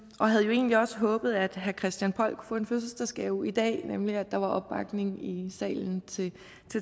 og havde jo egentlig også håbet at herre christian poll kunne få en fødselsdagsgave i dag nemlig at der var opbakning i salen til